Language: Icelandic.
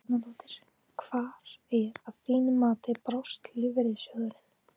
Helga Arnardóttir: Hvar að þínu mati brást lífeyrissjóðurinn?